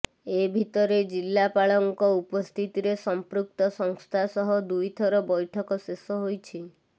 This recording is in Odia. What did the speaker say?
ଏ ଭିତରେ ଜିଲ୍ଲାପାଳଙ୍କ ଉପସ୍ଥିତିରେ ସଂପୃକ୍ତ ସଂସ୍ଥା ସହ ଦୁଇ ଥର ବ୘ଠକ ଶେଷ ହୋଇଛି